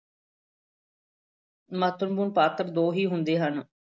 ਮਹੱਤਵਪੂਰਨ ਪਾਤਰ ਦੋ ਹੀ ਹੁੰਦੇ ਹਨ।